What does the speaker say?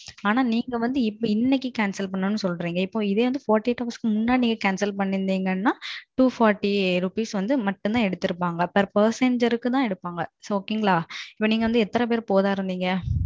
அனா நீங்க வந்து இப்போ இன்னைக்கு Cancel பண்ணனும்னு சொல்றிங்க இதை நாற்பத்து எட்டு மணிநேரத்துக்கு முன்னாடி நீங்க Cancel பண்ணிருத்தீங்கன்னா எரநூத்தி நாற்பது ரூபாய் மட்டும் தான் எடுப்பாங்க Per Passenger தான் எடுப்பாங்க. இப்போ நீங்க எதுன்னு பெரு போக இருந்திங்க?